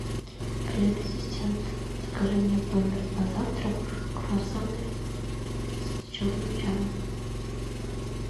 привет ассистент закажи мне в номер на завтрак круассаны с черным чаем